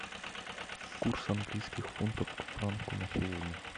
курс английских фунтов к франку на сегодня